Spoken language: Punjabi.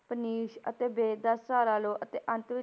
ਪੁਨੀਸ਼ ਅਤੇ ਬੇਦ ਦਾ ਸਹਾਰਾ ਲਓ ਅਤੇ ਅੰਤ ਵਿੱਚ,